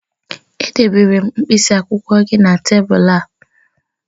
Edebere m mkpịsị akwụkwọ gị na tebụl gị